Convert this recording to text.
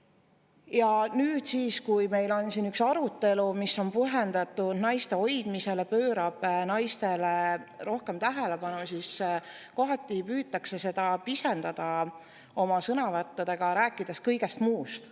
Ja nüüd siis, kui meil on siin üks arutelu, mis on pühendatud naiste hoidmisele, pöörab naistele rohkem tähelepanu, siis kohati püütakse seda pisendada oma sõnavõttudega, rääkides kõigest muust.